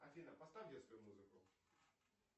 афина поставь детскую музыку